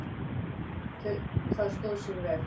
Það stóð sig vel.